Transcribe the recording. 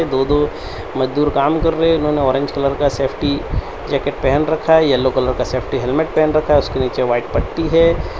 दो दो मजदूर काम कर रहे हैं इन्होंने ऑरेंज कलर का सेफ्टी जैकेट पहन रखा है येलो कलर का सेफ्टी हेलमेट पहन रखा है उसके नीचे वाइट पट्टी है।